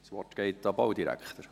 Das Wort geht an den Baudirektor.